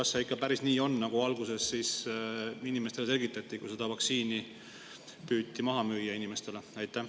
Kas see ikka päris nii on, nagu alguses selgitati, kui seda vaktsiini püüti maha müüa inimestele?